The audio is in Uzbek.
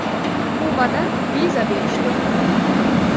Kubada viza berish to‘xtatildi.